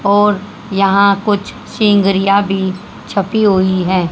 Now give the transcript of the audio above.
और यहां कुछ भी छपी हुई है।